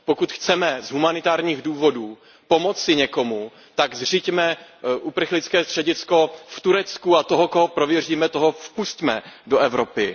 Pokud chceme z humanitárních důvodů pomoci někomu, tak zřiďme uprchlické středisko v Turecku a toho, koho prověříme, toho vpusťme do Evropy.